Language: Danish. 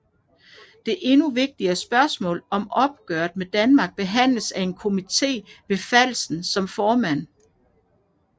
Det endnu vigtigere spørgsmål om opgøret med Danmark behandledes af en komité med Falsen som formand